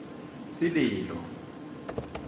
sililo